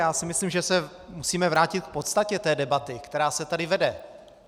Já si myslím, že se musíme vrátit k podstatě té debaty, která se tady vede.